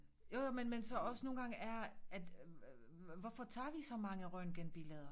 Jo jo men men så også nogle gange er at hvorfor tager vi så mange røntgenbilleder